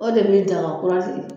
O de bɛ daga kura